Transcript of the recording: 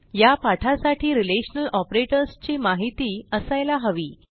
या पाठासाठी relational operators ची माहिती असायला हवी